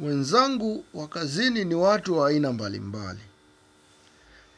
Wenzangu wa kazini ni watu wa aina mbali mbali.